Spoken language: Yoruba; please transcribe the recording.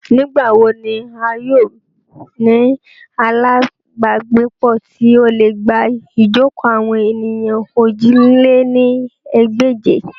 Nigbawo ni a yoo ni alabagbepo ti o le gba ijoko awon eniyan ojì lé ní ẹgbẹ́je?